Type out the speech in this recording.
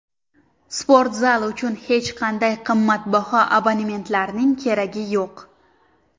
Sportzal uchun hech qanday qimmatbaho abonementlarning keragi yo‘q.